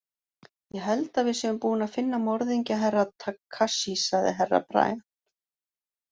Ég held að við séum búin að finna morðingju Herra Takashi, sagði Herra Brian.